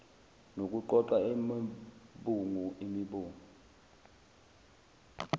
nokuqoqa imibungu imibungu